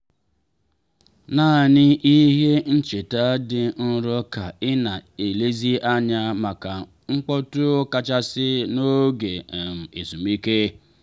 nanị ihe ncheta dị nro ka i na-elezi anya maka mkpọtụọkachasị n'oge um ezumike.